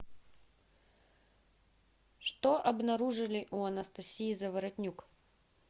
что обнаружили у анастасии заворотнюк